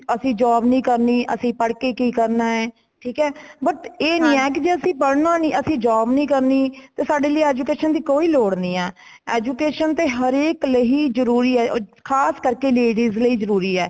ਅਸੀਂ job ਨਹੀਂ ਕਰਨੀ ਅਸੀਂ ਪੜ ਕੇ ਕੀ ਕਰਨਾ ਹੈ ਠੀਕ ਹੈ but ਇਹ ਨਹੀਂ ਹੈ ਜੇ ਅਸੀਂ ਪੜਨਾ ਨਹੀਂ ,ਅਸੀਂ job ਨਹੀਂ ਕਰਨੀ ਸਾਡੇ ਲਇ education ਦੀ ਕੋਈ ਲੋੜ ਨਹੀਂ ਹੇ। education ਤੇ ਹਰ ਇਕ ਲਈ ਜਰੂਰੀ ਹੇ ,ਖ਼ਾਸ ਕਰਕੇ ladies ਲਈ ਜਰੂਰੀ ਹੈ